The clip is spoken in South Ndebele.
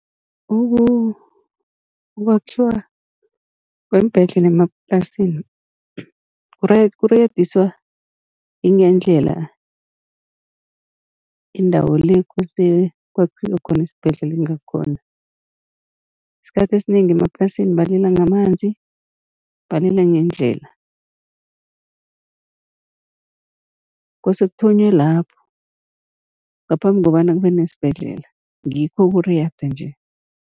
Ukwakhiwa kweembhedlela emaplasini kuriyadiswa yingendlela indawo le, kosele kwakhiwe khona isibhedlela ingakhona. Isikhathi esinengi emaplasini balila ngamanzi, balila ngeendlela kose kuthonywe lapho, ngaphambi kobana kube nesibhedlela, ngikho kuriyada nje.